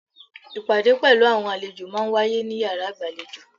Ìpàdé pelu àwọn àlejò máa ń wáyé ní yàrá ìgbàlejò.